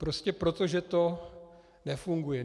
Prostě proto, že to nefunguje.